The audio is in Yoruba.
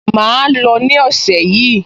Màá lò ó ní ọ̀sẹ̀ yìí